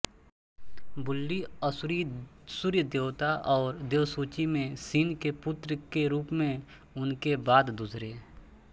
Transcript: बुलीअसूरी सूर्य देवता और देवसूची में सिन के पुत्र के रूप में उनके बाद दूसरे